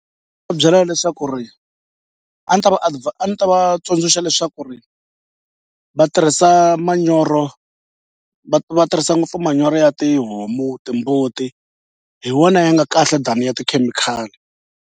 Byela leswaku ri a ni ta va a ni ta va tsundzuxa leswaku ri va tirhisa manyoro va va tirhisa ngopfu manyoro ya tihomu timbuti hi wona ya nga kahle than ya tikhemikhali.